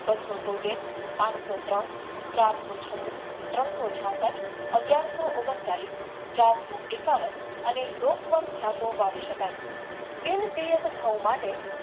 ત્રણસો તોતેર પાંચસો ત્રણ ચારસો છનું ત્રણ સો છાસઠ અગિયારસો ઓગણ ચાલીશ ચારસો એકાવન એને લોકવાંટ જતો વાવી શકાય તેની સિયાતખાય માટે